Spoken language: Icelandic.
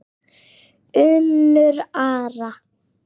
Unnur Ara.